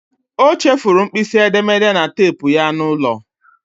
O chefuru mkpịsị edemede na teepu ya n'ụlọ.